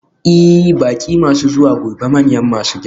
Ee, baƙi masu zuwa gobe manyan masu girma ne.